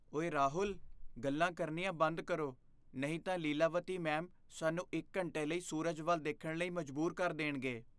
ਓਏ ਰਾਹੁਲ! ਗੱਲਾਂ ਕਰਨੀਆਂ ਬੰਦ ਕਰੋ, ਨਹੀਂ ਤਾਂ ਲੀਲਾਵਤੀ ਮੈਮ ਸਾਨੂੰ ਇੱਕ ਘੰਟੇ ਲਈ ਸੂਰਜ ਵੱਲ ਦੇਖਣ ਲਈ ਮਜਬੂਰ ਕਰ ਦੇਣਗੇ।